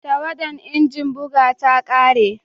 Tawadan injin buga ta kare